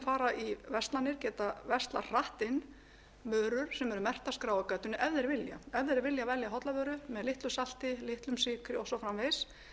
fara í verslanir geta verslað hratt inn vörur sem eru merktar skráargatinu ef þeir vilja velja hollar vörur með litlu salti litlum sykri og svo framvegis